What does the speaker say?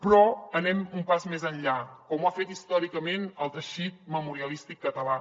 però anem un pas més enllà com ho ha fet històricament el teixit memorialístic català